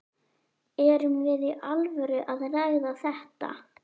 Erum við í alvöru að ræða þetta?